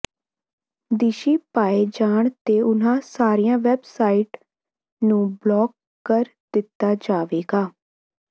ਦੀਸ਼ੀ ਪਾਏ ਜਾਣ ਤੇ ਉਨ੍ਹਾਂ ਸਾਰੀਆਂ ਵੈੱਬਸਾਈਟਸ ਨੂੰ ਬਲਾਕ ਕਰ ਦਿੱਤਾ ਜਾਵੇਗਾ